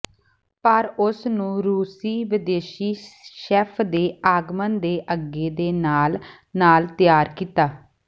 ਪਰ ਉਸ ਨੂੰ ਰੂਸੀ ਵਿਦੇਸ਼ੀ ਸ਼ੈੱਫ ਦੇ ਆਗਮਨ ਦੇ ਅੱਗੇ ਦੇ ਨਾਲ ਨਾਲ ਤਿਆਰ ਕੀਤਾ